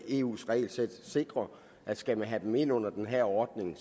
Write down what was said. eu’s regelsæt sikrer at skal man have dem ind under den her ordning